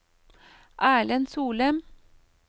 Erlend Solem